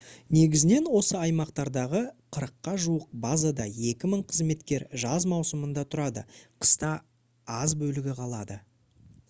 негізінен осы аймақтардағы қырыққа жуық базада екі мың қызметкер жаз маусымында тұрады қыста аз бөлігі қалады